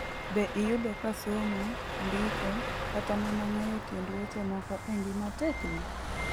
Be iyudo ka somo, ndiko, kata mana ng'eyo tiend weche moko e ngima tekni?